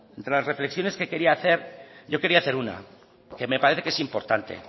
bueno de las reflexiones que quería hacer yo quería hacer una que me parece que es importante